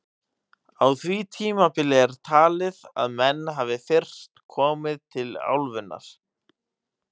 Á því tímabili er talið að menn hafi fyrst komið til álfunnar.